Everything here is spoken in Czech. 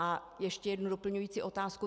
A ještě jednu doplňující otázku.